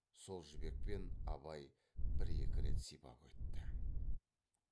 сол жібекпен абай бір екі рет сипап өтті